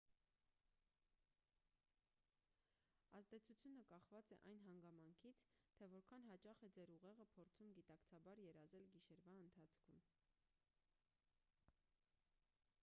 ազդեցությունը կախված է այն հանգամանքից թե որքան հաճախ է ձեր ուղեղը փորձում գիտակցաբար երազել գիշերվա ընթացքում